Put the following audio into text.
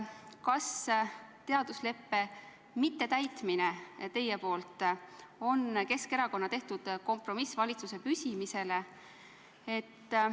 Kas teadusleppe mittetäitmine teie poolt on Keskerakonna tehtud kompromiss valitsuse püsimise nimel?